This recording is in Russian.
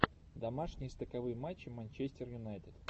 домашнее стыковые матчи манчестер юнайтед